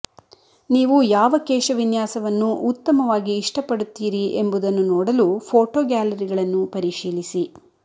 ನೀವು ಯಾವ ಕೇಶವಿನ್ಯಾಸವನ್ನು ಉತ್ತಮವಾಗಿ ಇಷ್ಟಪಡುತ್ತೀರಿ ಎಂಬುದನ್ನು ನೋಡಲು ಫೋಟೋ ಗ್ಯಾಲರಿಗಳನ್ನು ಪರಿಶೀಲಿಸಿ